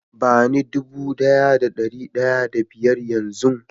ba ni dude Daya da dari daya da biyar Yan zun